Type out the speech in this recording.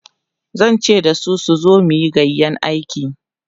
zan ce dasu su zo muyi gayƴan aiki